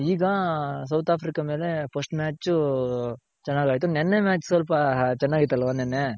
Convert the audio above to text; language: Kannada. ಈಗ ಸೌತ್ ಆಫ್ರೀಕ ಮೇಲೆ first match ಚೆನಾಗ್ ಆಯ್ತು ನೆನ್ನೆ match ಸ್ವಲ್ಪ ಚೆನಾಗಿತಲ್ವ ನೆನ್ನೆ